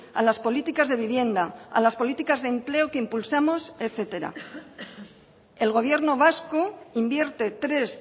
a las políticas de vivienda a las políticas de empleo que impulsamos etcétera el gobierno vasco invierte tres